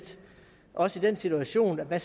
også i den situation at